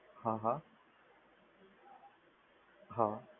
હા હા, હા